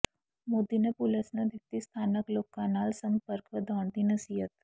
ਮੋਦੀ ਨੇ ਪੁਲਸ ਨੂੰ ਦਿੱਤੀ ਸਥਾਨਕ ਲੋਕਾਂ ਨਾਲ ਸੰਪਰਕ ਵਧਾਉਣ ਦੀ ਨਸੀਹਤ